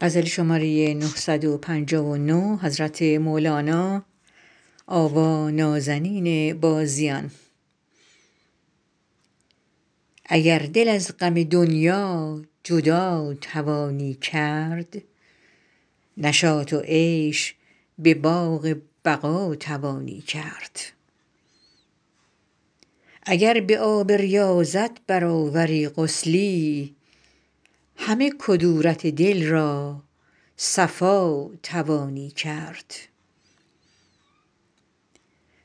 اگر دل از غم دنیا جدا توانی کرد نشاط و عیش به باغ بقا توانی کرد اگر به آب ریاضت برآوری غسلی همه کدورت دل را صفا توانی کرد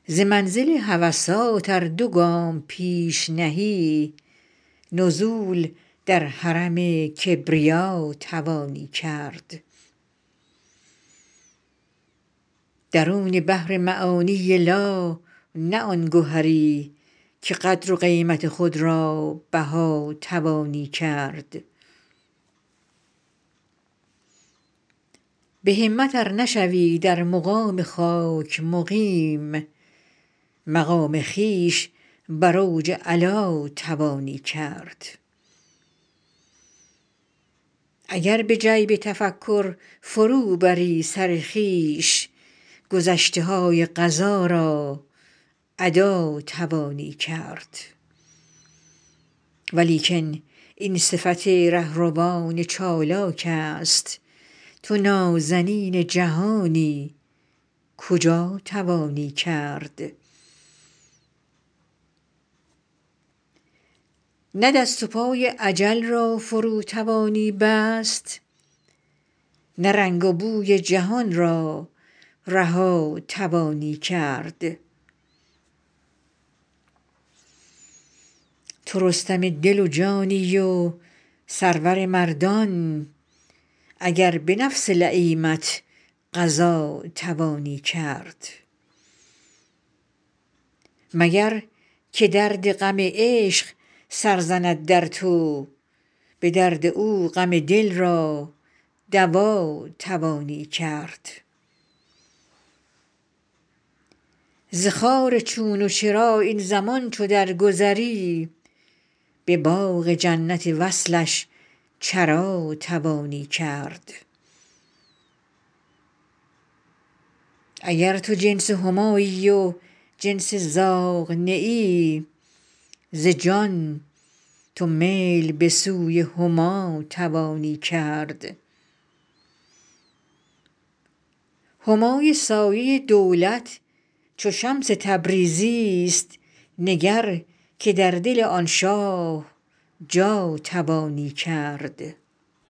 ز منزل هوسات ار دو گام پیش نهی نزول در حرم کبریا توانی کرد درون بحر معانی لا نه آن گهری که قدر و قیمت خود را بها توانی کرد به همت ار نشوی در مقام خاک مقیم مقام خویش بر اوج علا توانی کرد اگر به جیب تفکر فروبری سر خویش گذشته های قضا را ادا توانی کرد ولیکن این صفت ره روان چالاکست تو نازنین جهانی کجا توانی کرد نه دست و پای اجل را فرو توانی بست نه رنگ و بوی جهان را رها توانی کرد تو رستم دل و جانی و سرور مردان اگر به نفس لییمت غزا توانی کرد مگر که درد غم عشق سر زند در تو به درد او غم دل را دوا توانی کرد ز خار چون و چرا این زمان چو درگذری به باغ جنت وصلش چرا توانی کرد اگر تو جنس همایی و جنس زاغ نه ای ز جان تو میل به سوی هما توانی کرد همای سایه دولت چو شمس تبریزیست نگر که در دل آن شاه جا توانی کرد